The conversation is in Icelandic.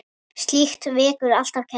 Slíkt vekur alltaf kæti.